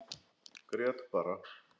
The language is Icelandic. Grét bara.